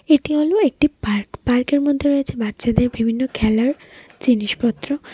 এটি হলো একটি পার্ক পার্কের মধ্যে রয়েছে বাচ্চাদের বিভিন্ন খেলার জিনিসপত্র .]